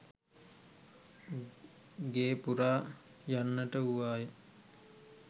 ගේ පුරා යන්නට වූවාය